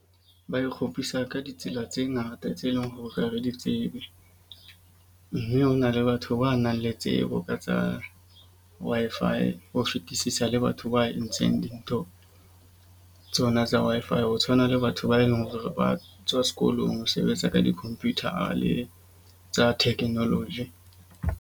Ba nkgopisa ka ditsela tse ngata tse leng hore re di tsebe. Mme hona le batho ba nang le tsebo ka tsa Wi-Fi ho fetisisa le batho wa entseng dintho tsona tsa Wi-Fi. Ho tshwana le batho ba eleng hore ba tswa sekolong ho sebetsa ka di-computer tsa technology.